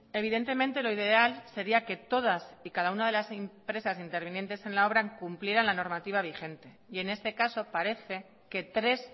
evidentemente lo ideal sería que todas y cada una de las empresas intervinientes en la obra cumplieran la normativa vigente y en este caso parece que tres